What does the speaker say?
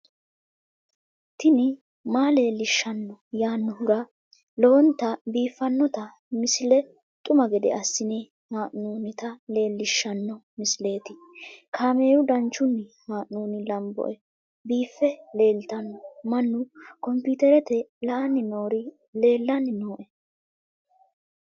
tini maa leelishshanno yaannohura lowonta biiffanota misile xuma gede assine haa'noonnita leellishshanno misileeti kaameru danchunni haa'noonni lamboe biiffe leeeltanno mannu komiterete la'anni noori leellanni nooe